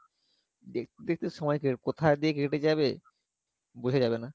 দেখতে দেখতে সময় কে কোথায় দিয়ে কেটে যাবে বোঝা যাবে না